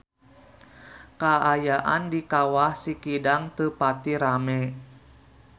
Kaayaan di Kawah Sikidang teu pati rame